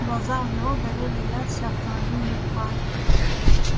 глаза у него горели ярче автомобильных фар